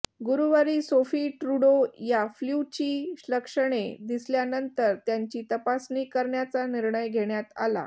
गुरुवारी Sophie Trudeau या फ्ल्यूची लक्षणे दिसल्यानंतर त्यांची तपासणी करण्याचा निर्णय घेण्यात आला